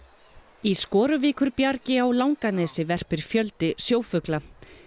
í á Langanesi verpir fjöldi sjófugla